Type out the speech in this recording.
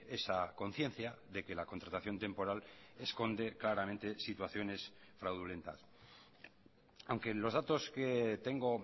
esa conciencia de que la contratación temporal esconde claramente situaciones fraudulentas aunque los datos que tengo